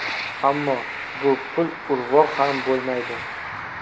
Ammo bu pul urvoq ham bo‘lmaydi.